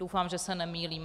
Doufám, že se nemýlím.